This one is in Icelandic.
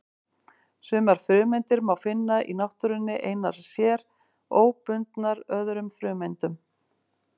Sumar frumeindir má finna í náttúrunni einar sér, óbundnar öðrum frumeindum.